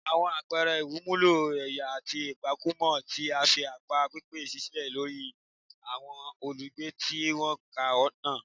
Àwọn àpẹẹrẹ ìwẹ̀nùmọ́ ẹ̀yà àti ìpakúpa ti fi àpá pípẹ́ sílẹ̀ sórí àwọn olùgbé tí wọ́n kan náà